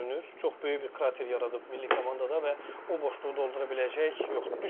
Çox böyük bir krater yaradıb milli komandada və o boşluğu doldura biləcək yoxdur.